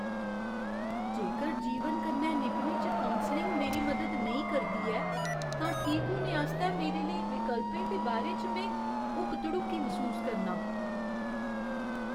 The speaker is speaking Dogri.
जेकर जीवन कन्नै निभने च कौंसलिंग मेरी मदद नेईं करदी ऐ तां ठीक होने आस्तै मेरे लेई विकल्पें दे बारे च में हुक्क धड़ुक्की मसूस करनां।